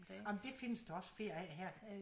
Ah men det findes der også flere af her